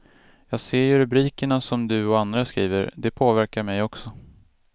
Jag ser ju rubrikerna som du och andra skriver, det påverkar mig också.